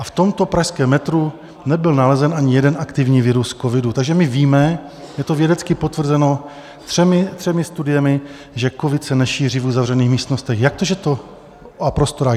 A v tomto pražském metru nebyl nalezen ani jeden aktivní virus covidu, takže my víme, je to vědecky potvrzeno třemi studiemi, že covid se nešíří v uzavřených místnostech a prostorách.